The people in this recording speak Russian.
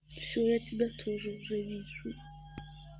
всё я тебя тоже уже вижу